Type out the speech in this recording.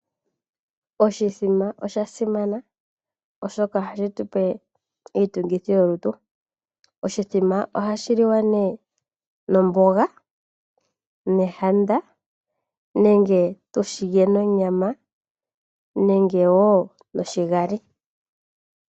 Oshithima osha simana, oshoka ohashi tu pe iitungithi yolutu. Oshithima ohashi liwa nee nomboga nekaka nenge tu shi lye nonyama nenge wo noshigali.